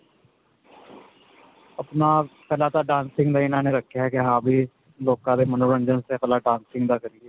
ਅਪਣਾ ਪਹਿਲਾਂ ਤਾਂ dancing ਦਾ ਇਨ੍ਹਾਂ ਨੇ ਰੱਖਿਆ ਕੀ ਹਾਂ ਬੀ ਲੋਕਾਂ ਦੇ ਮਨੋਰੰਜਨ ਪਹਿਲਾਂ dancing ਦਾ ਕਰੀਏ .